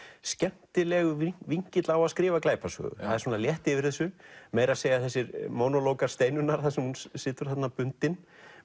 skemmtilegur vinkill á að skrifa glæpasögu það er létt yfir þessu meira að segja þessir Steinunnar þar sem hún situr bundin